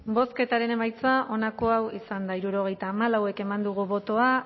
bozketaren emaitza onako izan da hirurogeita hamalau eman dugu bozka